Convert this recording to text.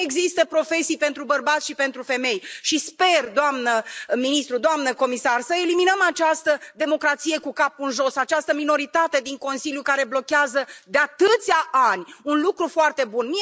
Nu există profesii pentru bărbați și pentru femei și sper, doamnă ministru, doamnă comisar, să eliminăm această democrație cu capul în jos, această minoritate din Consiliu care blochează de atâția ani un lucru foarte bun.